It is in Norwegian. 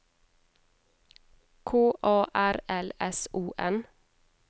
K A R L S O N